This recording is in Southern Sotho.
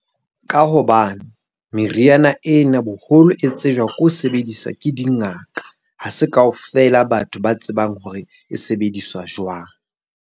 Ka hobane, meriana ena boholo e tsejwang ke ho sebedisa ke dingaka. Ha se ka ofela batho ba tsebang hore e sebediswa jwang.